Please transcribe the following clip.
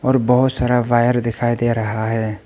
बहोत सारा वायर दिखाई दे रहा है।